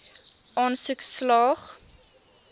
aansoek slaag